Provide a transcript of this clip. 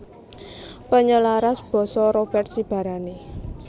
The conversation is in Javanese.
Penyelaras basa Robert Sibarani